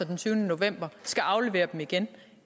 den tyvende november skal aflevere dem igen